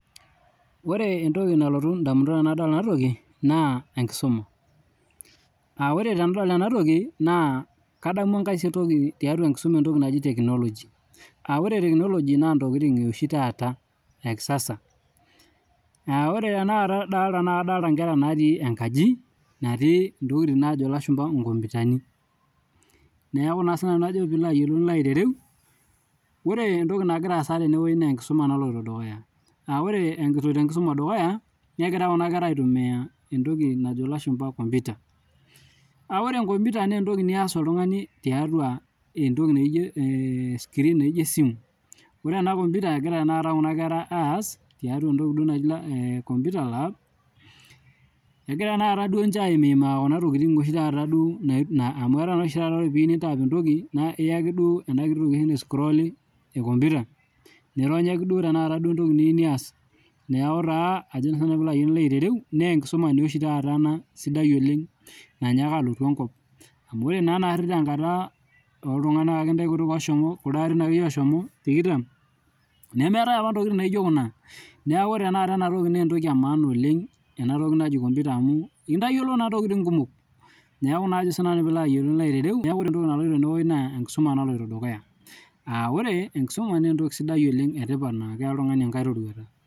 Ore entoki nalotu indamunot tenadol enatoki naa enkisuma . Aa ore tenadol enatoki naa kadamu enkae toki tenkisuma naji technology , aa ore technology naa ntokitin eoshi taata ekisasa . Aa ore tenakata adolta naa kadolta inkera natii enkaji natii ntokitin naji inkomputani , neku naa ajo naa sinanu pilo ayiolou , pilo aiterem ,ore entoki nagira aasa tenewuei naa enkisuma naloito dukuya .Aa ore eloito enkisuma dukuya , negira kuna kera aitumia entoki najo ilashumba computer . Aa ore computer naa entoki nias oltungani tiatua entoki naijo ee screen naijo esimu . Ore enacomputer , egira tenakata kuna kera aas tiatua entoki naji duo computer lab , egira duo ninche aimaa kuna tokitin taata duo amu etaa oshi taata ore piyieu nintap entoki , nikiyaki duo enatoki naiscroli ecomputer , nironyaki duo tenakata entoki niyieu nias , niaku taa ajo naa sinanu pilo aitereu nee enkisuma oshi taata enasidai oleng nanyaka alotu enkop, amu ore naa naari tenkata kuldo arin akeyie oshomo tikitam ,nemeetae apa ntokitin naijo kuna . Niaku ore tenakata enatoki naa entoki emaana oleng enatoki najo computer amu kitayiolo naa ntokitin kumok.